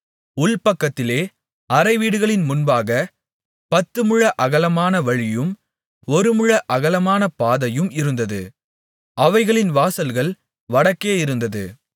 உள்பக்கத்திலே அறைவீடுகளின் முன்பாகப் பத்து முழ அகலமான வழியும் ஒரு முழ அகலமான பாதையும் இருந்தது அவைகளின் வாசல்கள் வடக்கே இருந்தது